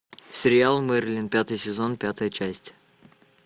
сериал мерлин пятый сезон пятая часть